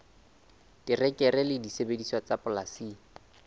terekere le disebediswa tsa polasing